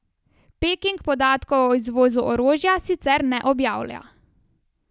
Peking podatkov o izvozu orožja sicer ne objavlja.